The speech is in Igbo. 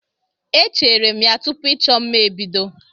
Echeere m ya tupu ịchọ mma ebido.